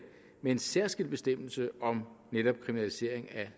med en særskilt bestemmelse om netop kriminalisering af